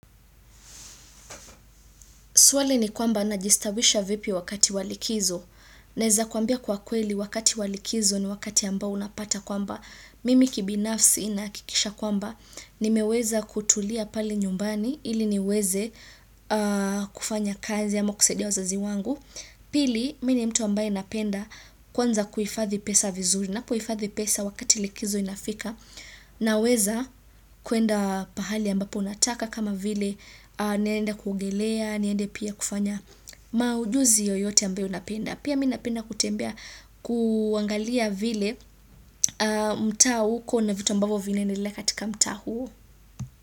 Swali ni kwamba najistawisha vipi wakati wa likizo. Naweza kuambia kwa kweli wakati wa likizo ni wakati ambao unapata kwamba. Mimi kibinafsi nahakikisha kwamba. Nimeweza kutulia pale nyumbani ili niweze kufanya kazi ama kusaidia wazazi wangu. Pili, mimi ni mtu ambaye napenda kwanza kuhifathi pesa vizuri. Napo hifathi pesa wakati likizo inafika. Naweza kuenda pahali ambapo nataka kama vile naenda kugelea, niende pia kufanya maujuzi yoyote ambayo napenda pia mimi napenda kutembea kuangalia vile mtaa huko na vitu ambavyo vinaendelea katika mtaa huo.